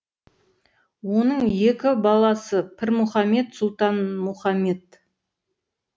оның екі баласы пірмұхамед сұлтанмұхамед